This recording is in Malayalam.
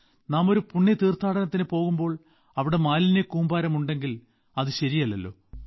നാം ഒരു പുണ്യ തീർത്ഥാനടത്തിന് പോകുമ്പോൾ അവിടെ മാലിന്യക്കൂമ്പാരമുണ്ടെങ്കിൽ അത് ശരിയല്ലല്ലോ